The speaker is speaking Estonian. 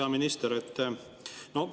Hea minister!